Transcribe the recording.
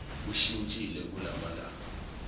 ushintshile kula malanga